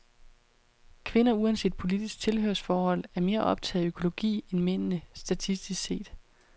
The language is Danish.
Kvinder, uanset politisk tilhørsforhold, er mere optaget af økologi end mændene, statistisk set.